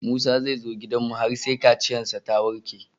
Musa zai zo gidanmu har sai kaciyar shi ta warke